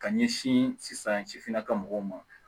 Ka ɲɛsin san sifinnaka mɔgɔw ma